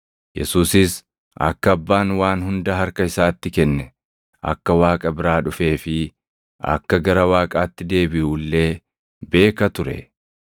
Yesuusis akka Abbaan waan hunda harka isaatti kenne, akka Waaqa biraa dhufee fi akka gara Waaqaatti deebiʼu illee beeka ture;